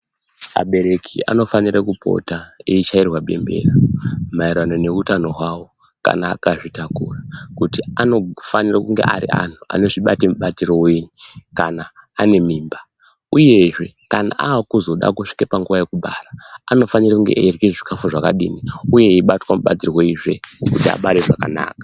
Abereki anofanire kupota eichairwa bembera maererano neutano hwavo kana akazvitakura, kuti anofanirwe kunge ari vantu vanozvibate mubatiro wei kana ane mimba, uyezve kana akude kuzosvika panguva yekubara anofanire kunge eirya zvikafu zvakadini uye eibatwa mubatirweizve kuti abare zvakanaka.